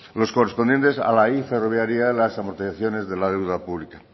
los correspondientes a la y ferroviaria las amortizaciones de la deuda pública